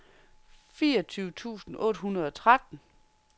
fireogtyve tusind otte hundrede og tretten